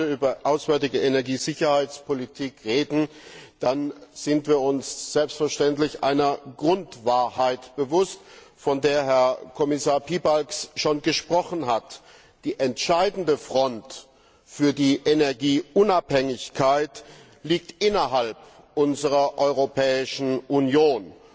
Wenn wir heute über auswärtige Energiesicherheitspolitik reden, dann sind wir uns selbstverständlich einer Grundwahrheit bewusst, von der Kommissar Piebalgs schon gesprochen hat Die entscheidende Front für die Energieunabhängigkeit liegt innerhalb unserer Europäischen Union.